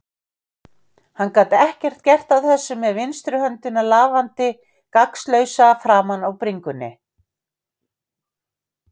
Hann gat ekki gert neitt af þessu með vinstri höndina lafandi gagnslausa framan á bringunni.